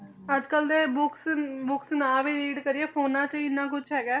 ਅਜਕਲ ਤੇ books books ਨਾ ਵੀ read ਕਰੀਏ ਫੋਨਾਂ 'ਚ ਹੀ ਇੰਨਾ ਕੁਛ ਹੈਗਾ ਹੈ